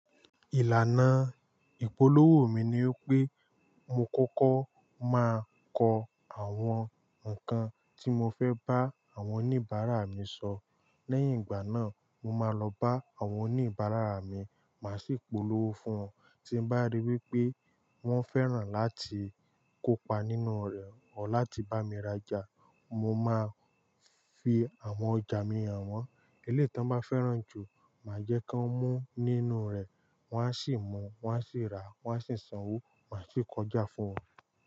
Ìlànà ìpolówó mi ni wípé mo kọ́kọ́ máa kọ àwọn nǹkan tí mo fẹ́ bá àwọn oníbàárà mi sọ. Lẹ́yìn ìgbà náà, mo máa lọ bá àwọn oníbàárà mi, màá sì polówó fún wọn. Tí mo bá ríi wípé wọ́n fẹ́ràn láti kópa nínú rẹ̀ o láti bá mi raja, mo máa fi àwọn ọjà mi hàn wọ́n. Elétan bá fẹ́ràn jù, màá jẹ́ kí wọ́n mú nínú rẹ̀, wọ́n á sì mú, wọ́n á sì rà, wọ́n á sì sanwó, màá sì kọjá fún wọn.